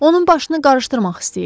Onun başını qarışdırmaq istəyirlər.